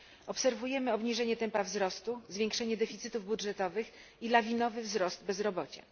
Obserwujemy obniżenie tempa wzrostu, zwiększenie deficytów budżetowych i lawinowy wzrost bezrobocia.